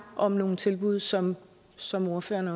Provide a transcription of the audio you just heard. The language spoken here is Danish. om nogle tilbud som som ordføreren